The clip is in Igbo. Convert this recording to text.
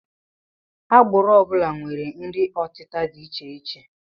Agbụrụ ọ bụla nwere nri ọtịta dị icheiche